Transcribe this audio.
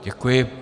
Děkuji.